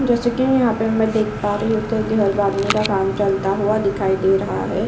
जैसा कि मैं यहाँ पे देख पा रही हूं इत्ते घर बांटने का काम चलता हुआ दिखाई दे रहा है।